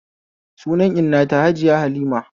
Sunan inna ta Hajiya Halima